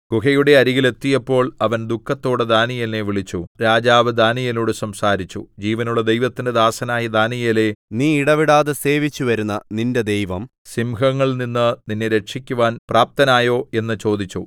ഗുഹയുടെ അരികിൽ എത്തിയപ്പോൾ അവൻ ദുഃഖത്തോടെ ദാനീയേലിനെ വിളിച്ചു രാജാവ് ദാനീയേലിനോട് സംസാരിച്ചു ജീവനുള്ള ദൈവത്തിന്റെ ദാസനായ ദാനീയേലേ നീ ഇടവിടാതെ സേവിച്ചുവരുന്ന നിന്റെ ദൈവം സിംഹങ്ങളിൽനിന്ന് നിന്നെ രക്ഷിക്കുവാൻ പ്രാപ്തനായോ എന്ന് ചോദിച്ചു